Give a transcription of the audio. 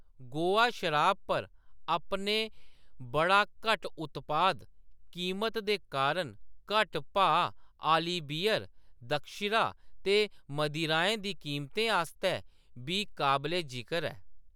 गोवा शराब पर अपने बड़ा घट्ट उत्पाद कीमत दे कारण घट्ट भाऽ आह्‌‌‌ली बीयर, द्राक्षिरा ते मदिराएं दी कीमतें आस्तै बी काबले-जिकर ऐ।